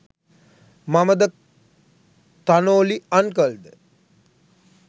මමද තනෝලි අන්කල් ද?